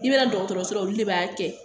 I bɛ na dɔgɔtɔrɔso la olu de b'a kɛ